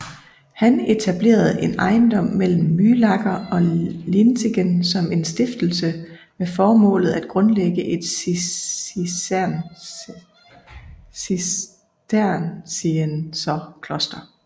Han etablerede en ejendom mellem Mühlacker og Lienzingen som en stiftelse med formålet at grundlægge et cistercienserkloster